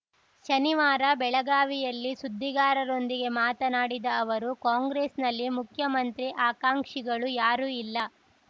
ಶನಿವಾರ ಬೆಳಗಾವಿಯಲ್ಲಿ ಸುದ್ದಿಗಾರರೊಂದಿಗೆ ಮಾತನಾಡಿದ ಅವರು ಕಾಂಗ್ರೆಸ್‌ನಲ್ಲಿ ಮುಖ್ಯಮಂತ್ರಿ ಆಕಾಂಕ್ಷಿಗಳು ಯಾರೂ ಇಲ್ಲ